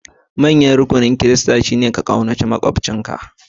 Manyan rukunan Kiristanci shine ka ƙaunaci maƙwabcinka kamar kanka